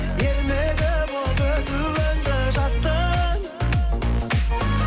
ермегі болып өтуіңді жаттың